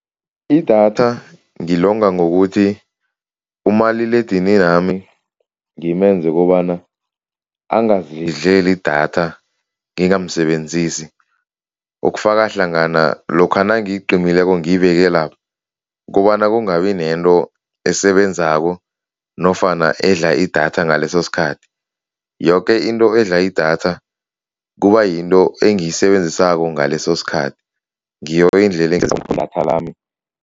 Idatha ngilonga ngokuthi umaliledininami ngimenze ukobana angazidleli idatha ngingamsebenzisi, okufaka hlangana lokha nangiyiqimileko ngiyibeke lapha, kobana kungabi nento esebenzako nofana edla idatha ngaleso sikhathi. Yoke into edla idatha kubayinto engiyisebenzisako ngaleso sikhathi ngiyo indlela idatha lami.